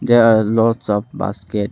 There are lots of basket .